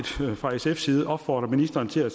fra sfs side opfordre ministeren til at